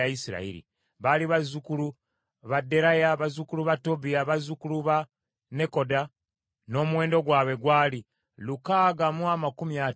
Baali bazzukulu ba Deraya, bazzukulu ba Tobiya, ne bazzukulu ba Nekoda n’omuwendo gwabwe gwali lukaaga mu amakumi ataano mu babiri (652).